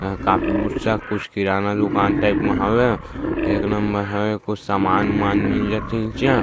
एहा कॉपी पुस्तक कुछ किराना दुकान टाइप म हवे एक नंबर हवे कुछ सामान उमान मिल जथे इन्चे आ --